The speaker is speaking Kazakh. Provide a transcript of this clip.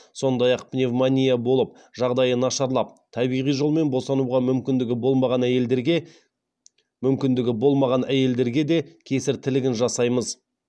сондай ақ пневмония болып жағдайы нашарлап табиғи жолмен босануға мүмкіндігі болмаған әйелдерге де кесір тілігін жасаймыз